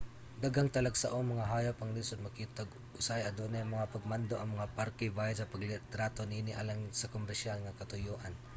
daghang talagsaong mga hayop ang lisud makita ug usahay adunay mga pagmando ang mga parke bahin sa paglitrato niini alang sa komersyal nga katuyoan